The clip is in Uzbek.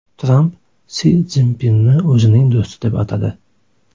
Tramp Si Szinpinni o‘zining do‘sti deb atadi.